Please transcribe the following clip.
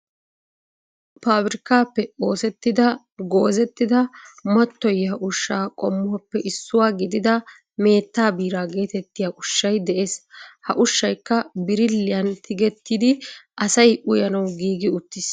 Pabirkkaappe oosettida goozettida mattoyiyaa ushshaa qommuwaappe issuwaa gidida meettaa biraa getettiyaa ushshay de'ees. ha ushshaykka biriliyaan tigettidi asay uyanawu giigi uttiis.